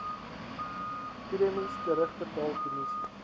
premies terugbetaal kommissie